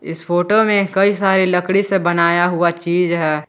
इस फोटो में कई सारी लकड़ी से बनाया हुआ चीज है।